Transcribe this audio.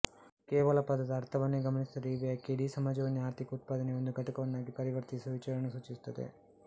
ಕೇವಲ ಪದದ ಅರ್ಥವನ್ನೇ ಗಮನಿಸಿದರೆ ಈ ವ್ಯಾಖ್ಯೆ ಇಡೀ ಸಮಾಜವನ್ನೇ ಆರ್ಥಿಕ ಉತ್ಪಾದನೆಯ ಒಂದು ಘಟಕವನ್ನಾಗಿ ಪರಿವರ್ತಿಸುವ ವಿಚಾರವನ್ನು ಸೂಚಿಸುತ್ತದೆ